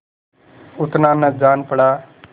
उतना न जान पड़ा